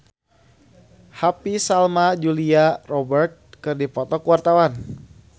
Happy Salma jeung Julia Robert keur dipoto ku wartawan